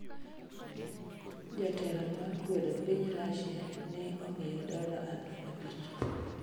Jatelo mar kwedo piny Russia ne omiye dola aluf abich